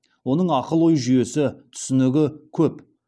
оның ақыл ой жүйесі түсінігі көп